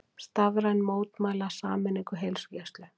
Starfsmenn mótmæla sameiningu heilsugæslu